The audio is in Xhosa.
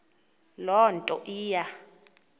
loo nto iya